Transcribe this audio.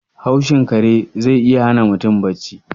Haushin kare ze iya hana mutum bacci.